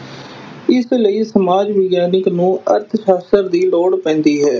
ਇਸ ਲਈ ਸਮਾਜ ਵਿਗਿਆਨਕ ਨੂੰ ਅਰਥ ਸ਼ਾਸਤਰ ਦੀ ਲੋੜ ਪੈਂਦੀ ਹੈ।